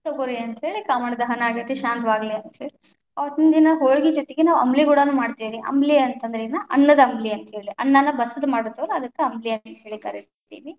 ತಗೋರಿ ಅಂತ ಹೇಳಿ ಕಾಮಣ್ಣ ದಹನ ಆಗೇತಿ ಶಾಂತವಾಗಲಿ, ಅಂತ ಹೇಳಿ ಅವತ್ತಿ ದಿನ ಹೋಳಗಿ ಜೊತೆಗೆ ಅಂಬ್ಲಿ ಗೂಡಾನು ಮಾಡ್ತೀವ್ರಿ, ಅಂಬ್ಲಿ ಅಂತ ಅಂದ್ರ ಏನು? ಅನ್ನದ ಅಂಬ್ಲಿ ಅಂತ ಹೇಳಿ, ಅನ್ನಾನ ಬಸದು ಮಾಡ್ತೀವಲ್ಲ ಅದಕ್ಕ ಅಂಬ್ಲಿ ಅಂತ ಹೇಳಿ ಕರೀತೀವಿ.